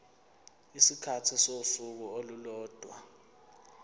isikhathi sosuku olulodwa